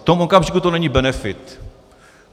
V tom okamžiku to není benefit.